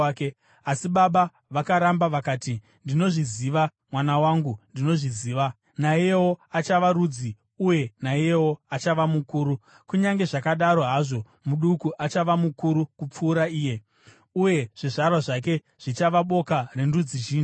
Asi baba vakaramba vakati, “Ndinozviziva, mwana wangu, ndinozviziva. Naiyewo achava rudzi, uye naiyewo achava mukuru. Kunyange zvakadaro hazvo muduku achava mukuru kupfuura iye, uye zvizvarwa zvake zvichava boka rendudzi zhinji.”